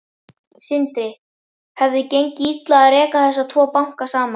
Sindri: Hefði gengið illa að reka þessa tvo banka saman?